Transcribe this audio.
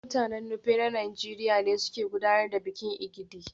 Mutanen Nupe na Najeriya ne suke gudanar da bikin Egidi